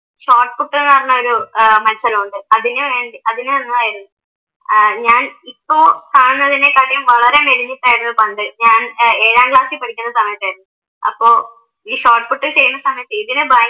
Shot പുട്ട്ന്ന് പറഞ്ഞൊരു ഏർ മത്സരമുണ്ട്. അതിനു വേണ്ടി അതിനു വന്നതായിരുന്നു ഏർ ഞാൻ ഇപ്പൊ കാണുന്നതിനേക്കാട്ടിയും വളരെ മെലിഞ്ഞിട്ടായിരുന്നു പണ്ട് ഞാൻ ഏഴാം ക്ലാസ്സിൽ പഠിക്കുന്ന സമയത്ത് അപ്പൊ ഈ ഷോട്ട് പുട്ട് ചെയ്യുന്ന സമയത്ത് ഇതിന് ഭയങ്കരം